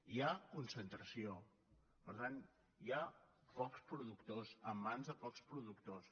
hi ha concentració per tant hi ha pocs productors en mans de pocs productors